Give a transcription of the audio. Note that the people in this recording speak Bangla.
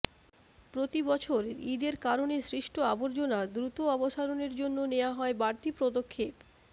প্রতিবছর ঈদের কারণে সৃষ্ট আবর্জনা দ্রুত অপসারণের জন্য নেওয়া হয় বাড়তি পদক্ষেপ